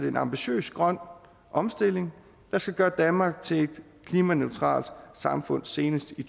en ambitiøs grøn omstilling der skal gøre danmark til et klimaneutralt samfund senest i